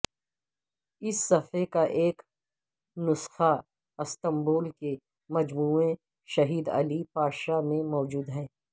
اس صحیفے کا ایک نسخہ استنبول کے مجموعے شہید علی پاشا میں موجود ہے